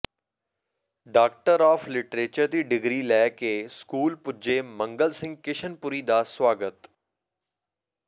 doctor of literature ਦੀ degree ਲੈ ਕੇ ਸਕੂਲ ਪੁੱਜੇ ਮੰਗਲ ਸਿੰਘ ਕਿਸ਼ਨਪੁਰੀ ਦਾ ਸਵਾਗਤ